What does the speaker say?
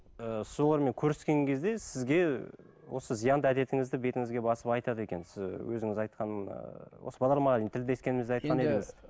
ы солармен көріскен кезде сізге осы зиянды әдетіңізді бетіңізге басып айтады екен сіз өзіңіз айтқан ыыы осы бағдарламаға дейін тілдескенімізде айтқан едіңіз